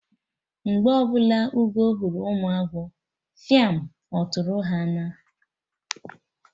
Mgbe ọbụla Ugo hụrụ ụmụ agwọ, fiam! Ọtụtụrụ ha naa!